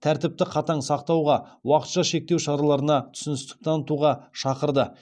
тәртіпті қатаң сақтауға уақытша шектеу шараларына түсіністік танытуға шақырды